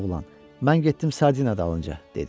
Oğlan, mən getdim sardina dalınca, dedi.